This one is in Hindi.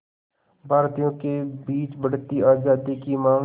भारतीयों के बीच बढ़ती आज़ादी की मांग